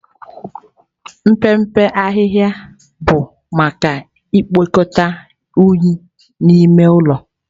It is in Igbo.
Mpempe ahịhịa bụ maka ikpokọta unyi n'ime ụlọ.